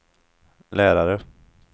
lärare